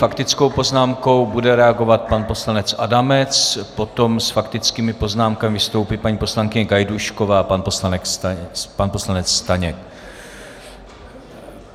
Faktickou poznámkou bude reagovat pan poslanec Adamec, potom s faktickými poznámkami vystoupí paní poslankyně Gajdůšková a pan poslanec Staněk.